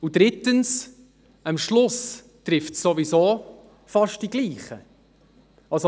Drittens: Am Schluss trifft es ohnehin fast die Gleichen.